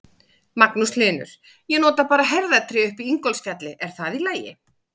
Magnús Hlynur: Ég nota bara herðatré upp í Ingólfsfjalli, er það í lagi?